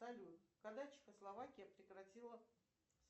салют когда чехословакия прекратила